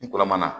N kɔrɔ ma